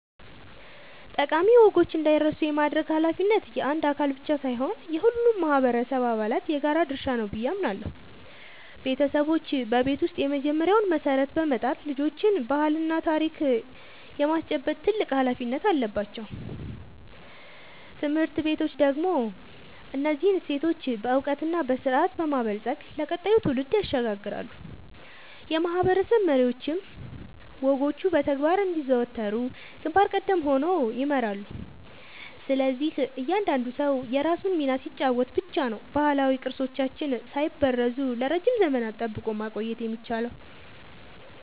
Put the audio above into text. ጠቃሚ ወጎች እንዳይረሱ የማድረግ ኃላፊነት የአንድ አካል ብቻ ሳይሆን የሁሉም ማህበረሰብ አባላት የጋራ ድርሻ ነው ብዬ አምናለሁ። ቤተሰቦች በቤት ውስጥ የመጀመሪያውን መሰረት በመጣል ልጆችን ባህልና ታሪክ የማስጨበጥ ትልቅ ኃላፊነት አለባቸው። ትምህርት ቤቶች ደግሞ እነዚህን እሴቶች በዕውቀትና በስርዓት በማበልጸግ ለቀጣዩ ትውልድ ያሸጋግራሉ፤ የማህበረሰብ መሪዎችም ወጎቹ በተግባር እንዲዘወተሩ ግንባር ቀደም ሆነው ይመራሉ። ስለዚህ እያንዳንዱ ሰው የራሱን ሚና ሲጫወት ብቻ ነው ባህላዊ ቅርሶቻችንን ሳይበረዙ ለረጅም ዘመናት ጠብቆ ማቆየት የሚቻለው።